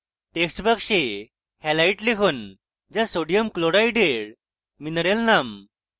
text box halite লিখুন যা sodium chloride mineral name